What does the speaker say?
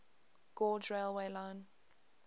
gauge railway line